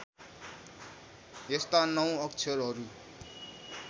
यस्ता नौ अक्षरहरू